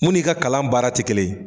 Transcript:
Mun n'i ka kalan baara te kelen ye